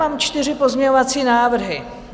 Mám čtyři pozměňovací návrhy.